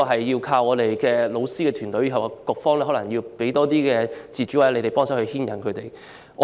要靠教師團隊，局方可能要給他們更多自主權或協助。